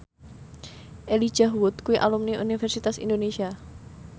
Elijah Wood kuwi alumni Universitas Indonesia